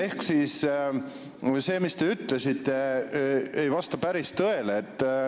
Ehk see, mis te ütlesite, ei vasta päris tõele.